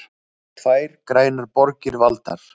Tvær grænar borgir valdar